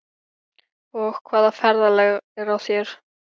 Og hvaða ferðalag er á þér?